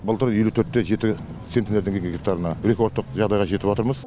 былтыр елу төрт те жеті центнерден келген гектарына рекордтық жағдайға жетіватырмыз